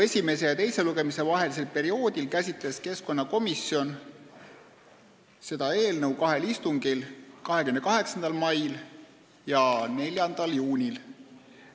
Esimese ja teise lugemise vahelisel perioodil käsitles keskkonnakomisjon seda eelnõu kahel istungil: 28. mail ja 4. juunil.